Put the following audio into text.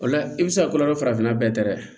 O la i bɛ se ka ko dɔ kɛ farafinna bɛɛ tɛ dɛ